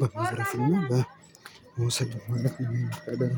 በዘርፍና በሙስና ማለት